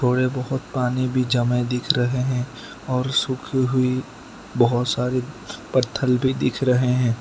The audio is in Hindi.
थोड़े बहुत पानी भी जमे दिख रहे हैं और सूखी हुई बहोत सारे पत्थर भी दिख रहे हैं।